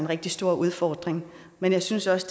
rigtig store udfordringer men jeg synes også